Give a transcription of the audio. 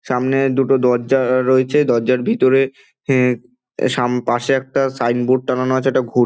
সামনে দুটো দরজা-আ রয়েছে দরজায় ভিতরে এ সাম পাশে একটা সাইনবোর্ড টাঙ্গানো আছে একটা ঘ--